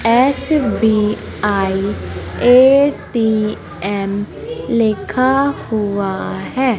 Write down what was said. SBI ATM लिखा हुआ है।